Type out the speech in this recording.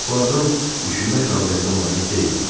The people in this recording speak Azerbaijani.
Bu adam düşünmək qabiliyyətinə malik deyildi.